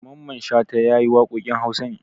Dr Mamman Shata ya yi waƙoƙin Hausa ne.